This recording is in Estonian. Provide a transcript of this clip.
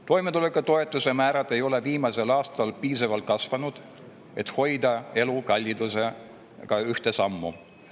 Toimetulekutoetuse määrad ei ole viimasel aastal piisavalt kasvanud, et elukallidusega ühte sammu.